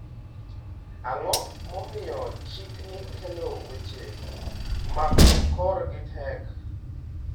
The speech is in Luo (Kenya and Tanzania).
Ang’o momiyo chikni kelo weche ma korgi tek?